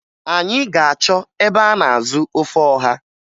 Anyị ga-achọ ebe a na-azụ ofe ọha